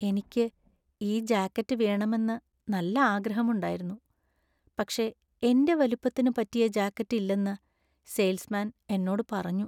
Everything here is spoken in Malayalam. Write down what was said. എനിക്ക് ഈ ജാക്കറ്റ് വേണമെന്ന് നല്ല ആഗ്രഹമുണ്ടായിരുന്നു പക്ഷേ എന്റെ വലിപ്പത്തിന് പറ്റിയ ജാക്കറ്റ് ഇല്ലെന്ന് സെയിൽസ് മാൻ എന്നോട് പറഞ്ഞു.